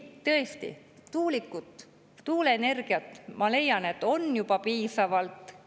Tõesti, tuulikuid, tuuleenergiat, ma leian, on juba piisavalt.